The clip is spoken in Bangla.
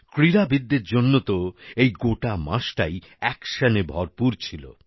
ক্রীড়াবিদদের জন্য তো এই গোটা মাসটাই অ্যাকশনে ভরপুর ছিল